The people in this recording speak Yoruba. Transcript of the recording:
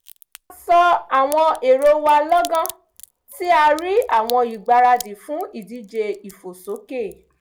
a sọ àwọn èrò wa lọ́gán tí a rí àwọn ìgbaradì fún ìdíje ìfòsókè